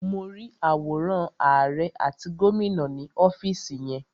Mo rí àwòrán àrẹ àti gómìnà ni ọ́fìsì yẹn.